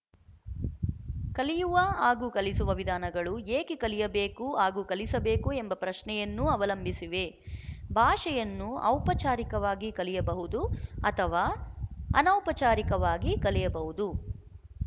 ಕಲಿಯುವ ಹಾಗೂ ಕಲಿಸುವ ವಿಧಾನಗಳು ಏಕೆ ಕಲಿಯಬೇಕು ಹಾಗೂ ಕಲಿಸಬೇಕು ಎಂಬ ಪ್ರಶ್ನೆಯನ್ನೂ ಅವಲಂಬಿಸಿವೆ ಭಾಷೆಯನ್ನು ಔಪಚಾರಿಕವಾಗಿ ಕಲಿಯಬಹುದು ಅಥವಾ ಅನೌಪಚಾರಿಕವಾಗಿ ಕಲಿಯಬಹುದು